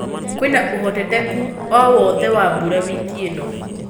kwĩna ũhotekekũ o wothe wa mbũra wiki ĩnõ